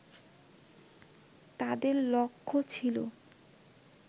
তাদের লক্ষ্য ছিল